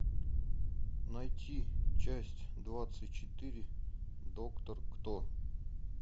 найти часть двадцать четыре доктор кто